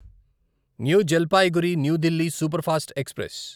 new Jalpaiguri new Delhi superfast express